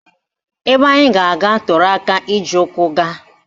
Ebe anyị ga-aga toro aka iji ụkwụ gaa